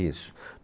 Isso.